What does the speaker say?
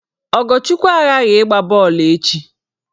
Ogochukwu aghaghị ịgba bọọlụ echi!